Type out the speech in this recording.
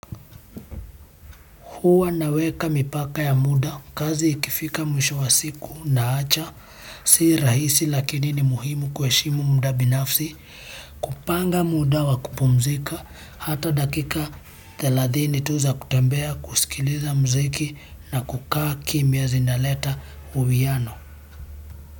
Huwa naweka mipaka ya muda, kazi ikifika mwisho wa siku naacha, si rahisi lakini ni muhimu kuheshima ya muda binafsi, kupanga muda wa kupumzika, hata dakika thelathini tu za kutambea kusikiliza mziki na kukaa kimya zinaleta uwiano.